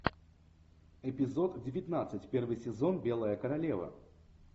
эпизод девятнадцать первый сезон белая королева